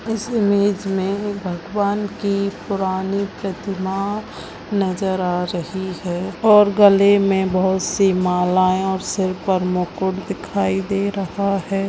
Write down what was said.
इस इमेज मे भगवान की पुरानी प्रतिमा नजर आ रही है और गले मे बहुत सी मालाए और सर पर मुकुट दिखाई दे रहा है।